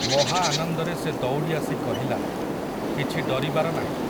ମହାଆନନ୍ଦରେ ସେ ଦୌଡ଼ିଆସି କହିଲା, କିଛି ଡରିବାର ନାହିଁ ।